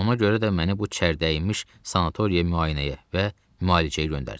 Ona görə də məni bu çərdəmiş sanatoriya müayinəyə və müalicəyə göndərdilər.